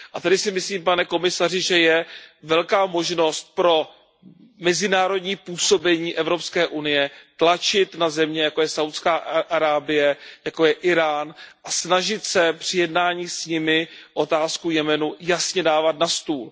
Tedy si myslím, pane komisaři, že je velká možnost pro mezinárodní působení EU tlačit na země, jako je Saúdská Arábie, jako je Írán a snažit se při jednání s nimi otázku Jemenu jasně dávat na stůl.